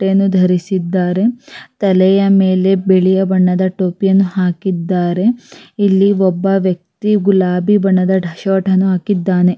ಬಟ್ಟೆಯನ್ನು ಧರಿಸಿದ್ದಾರೆ ತಲೆಯ ಮೇಲೆ ಬಿಳಿಯ ಬಣ್ಣದ ಟೋಪಿಯನ್ನು ಹಾಕಿದ್ದಾರೆ ಇಲ್ಲಿ ಒಬ್ಬ ವ್ಯಕ್ತಿ ಗುಲಾಬಿ ಬಣ್ಣದ ಶರ್ಟ್ ಅನ್ನು ಹಾಕಿದ್ದಾನೆ.